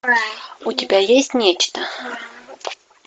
у тебя есть нечто